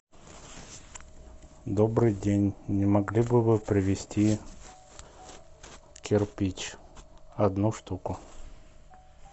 добрый день не могли бы вы привезти кирпич одну штуку